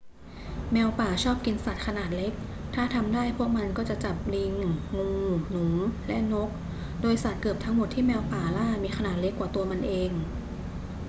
แมวป่าชอบกินสัตว์ขนาดเล็ก ถ้าทำได้พวกมันก็จะจับลิง งู หนู และนก โดยสัตว์เกือบทั้งหมดที่แมวป่าล่ามีขนาดเล็กกว่าตัวมันเอง